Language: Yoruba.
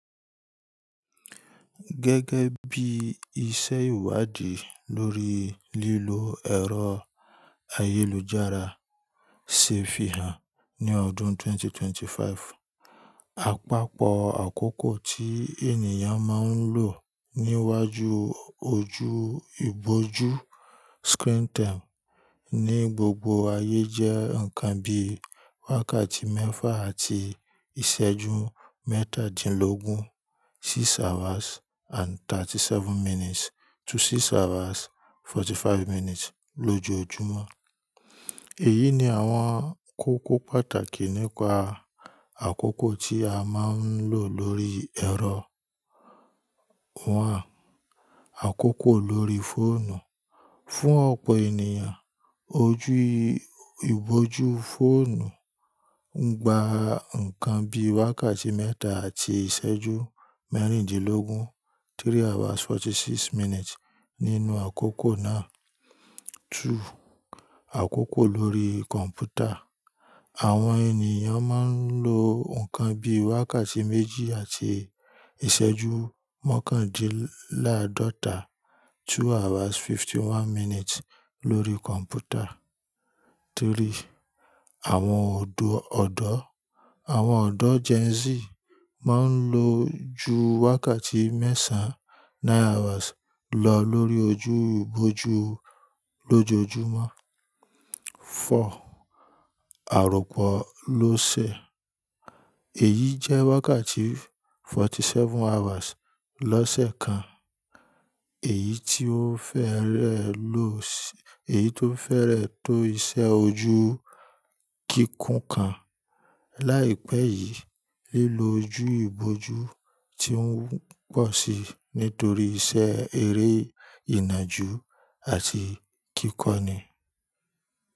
Gẹ́gẹ́ bí iṣẹ́ ìwádìí lórí lílo ẹ̀rọ ayélujára se fihàn ní ọdún 2025, àpapọ̀ àkókò tí ènìyàn máa ń lò níwájú ojú ìbójú screen time ní gbogbo ayé jẹ́ nǹkan bí wákàtí mẹ́fà àti ìṣẹ́jú mẹ́tàdínlógún, six hours and thirty seven minutes to six hours forty five minutes lójoojúmọ́. Èyí ni àwọn kókó pàtàkì nípa àkókò tí a máa ń lò lórí ẹ̀rọ; One Àkókò lórí fóònù. Fún ọ̀pọ̀ ènìyàn, ojú ìbójú fóònù ń gba nǹkan bí wákàtí mẹ́ta àti ìṣẹ́jú mẹ́rìndínlógún, three hours forty six minutes nínú àkókò náà. Àkókò lórí kọ̀m̀pútà. Àwọn ènìyàn máa ń lo nǹkan bí wákàtí méjì àti ìṣẹ́jú mọ̀kàndínláàdọ́ta, two hours fifty one minutes lórí kọ̀m̀pútà. Àwọn ọ̀dọ̀, àwọn ọ̀dọ́ Gen Z máa ń lo ju wákàtí mẹ́sàn án, nine hours lọ lórí ojú ìbójú lójoojúmọ́. Àròpọ́ lọ́ ṣẹ̀. Èyí jẹ́ wákàtí forty seven hours lọ́ sẹ̀ kan, èyí tió fẹ́rẹ̀ lọ́ṣẹ̀, èyí tó fẹ́rẹ̀ tó iṣẹ́ ojú kíkún kan. Láìpẹ́ yìí, lílo ojú ìbójú ti ń pọ̀ sí nítorí iṣẹ́ eré ìnàjú àti kíkọ́ni.